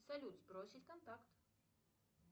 салют сбросить контакт